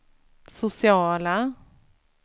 sociala